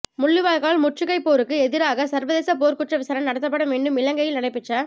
முள்ளிவாய்க்கால் முற்றுகைப்போருக்கு எதிராக சர்வதேச போர்க்குற்ற விசாரணை நடத்தப்பட வேண்டும் இலங்கையில் நடைபெற்ற